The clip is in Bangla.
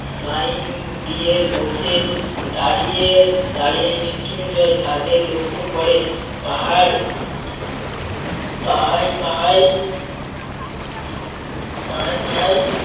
লাইন দিয়ে বসে দাঁড়িয়ে~ দাঁড়িয়ে মৃত্যুঞ্জয় তাদের লক্ষ্য করে পাহাড় পাহাড়~ পাহাড় পাহাড়~পাহাড়